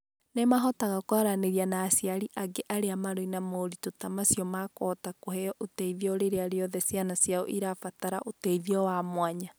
Nĩ mahotaga kwaranĩria na aciari angĩ marĩ na moritũ ta macio na makahota kũheo ũteithio rĩrĩa rĩothe ciana ciao irabatara ũteithio wa mwanya.